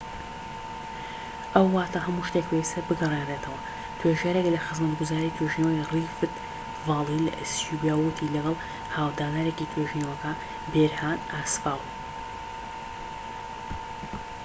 ئەوە واتا هەموو شتێک پێویستە بگەڕێنرێتەوە توێژەرێک لە خزمەتگوزاری توێژینەوەی ڕیفت ڤالی لە ئەسیوبیا ووتی و لەگەڵ هاو-دانەرێکی توێژینەوەکە بێرهان ئاسفاو